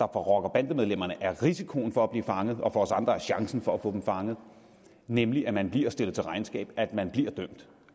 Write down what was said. rocker bande medlemmerne er risikoen for at blive fanget og for os andre er chancen for at få dem fanget nemlig at man bliver stillet til regnskab at man bliver dømt